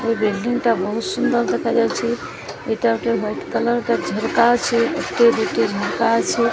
ଏହି ବିଲ୍ଡିଂ ଟା ବହୁତ୍ ସୁନ୍ଦର୍ ଦେଖାଯାଉଚି ଏଇଟା ଗୋଟେ ୱାଇଟ୍ କଲର୍ ଝରକା ଅଛି ଏଠି ଗୋଟିଏ ଝରକା ଅଛି।